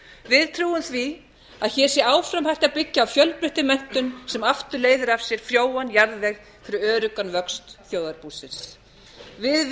við trúum því að hér sé áfram hægt að byggja á fjölbreyttri menntun sem aftur leiðir af sér frjóan jarðveg fyrir öruggan vöxt þjóðarbúsins við